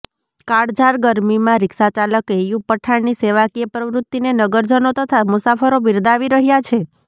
કાળઝાળ ગરમીમાં રિક્ષાચાલક ઐયુબ પઠાણની સેવાકીય પ્રવૃત્તિને નગરજનો તથા મુસાફરો બિરદાવી રહ્યા છે